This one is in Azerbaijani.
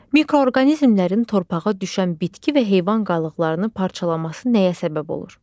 Mikroorqanizmlərin torpağa düşən bitki və heyvan qalıqlarını parçalaması nəyə səbəb olur?